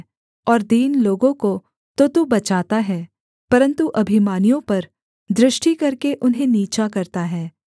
और दीन लोगों को तो तू बचाता है परन्तु अभिमानियों पर दृष्टि करके उन्हें नीचा करता है